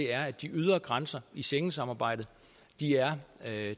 er at de ydre grænser i schengensamarbejdet er